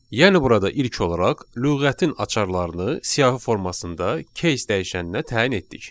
Yəni burada ilk olaraq lüğətin açarlarını siyahı formasında keys dəyişəninə təyin etdik.